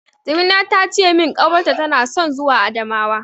Jamila ta ce min ƙawarta tana son zuwa Adamawa.